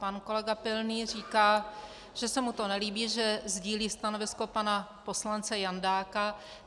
Pan kolega Pilný říká, že se mu to nelíbí, že sdílí stanovisko pana poslance Jandáka.